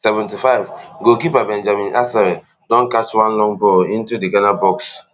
seventy-fivegoalkeeper benjamin asare don catch one long ball into di ghana box